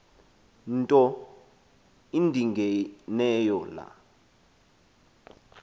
nto indingeneyo laa